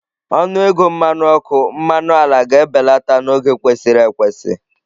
Ọnụ ego mmanụ ọkụ, mmanụ ala ga-ebelata n'oge kwesịrị ekwesị